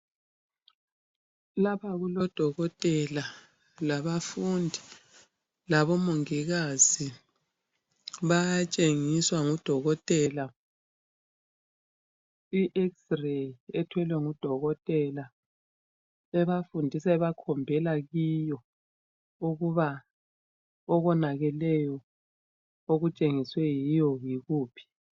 Lapha kulodokotela, labafundi, labomongikazi bayatshengiswa ngudokotela i-Xray ethwelwe ngudokotela ebafundisa ebakhombela kiyo ukuba okonakeleyo okutshengiswe yiyo yikuphi.